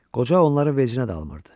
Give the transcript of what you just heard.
Qoca onların vecinə dalmırdı.